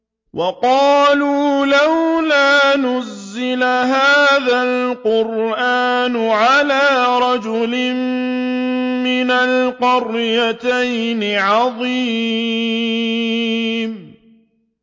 وَقَالُوا لَوْلَا نُزِّلَ هَٰذَا الْقُرْآنُ عَلَىٰ رَجُلٍ مِّنَ الْقَرْيَتَيْنِ عَظِيمٍ